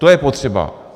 To je potřeba.